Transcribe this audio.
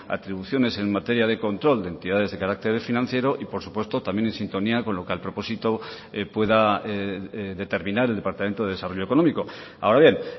atribuciones en materia de control de entidades de carácter financiero y por supuesto también en sintonía con lo que al propósito pueda determinar el departamento de desarrollo económico ahora bien